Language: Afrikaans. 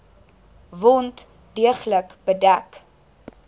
wond deeglik bedek